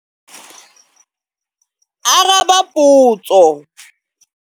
Araba potso.